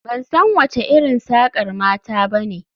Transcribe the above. Ban san wace irin sakar mata ba ne